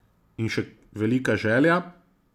In še velika želja?